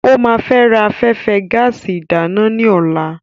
Ó ma ra afẹ́fẹ́ gáàsì ìdáná ní ọ̀la.